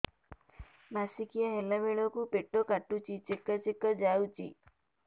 ମାସିକିଆ ହେଲା ବେଳକୁ ପେଟ କାଟୁଚି ଚେକା ଚେକା ଯାଉଚି